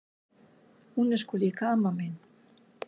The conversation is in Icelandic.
Hún er sko líka amma mín!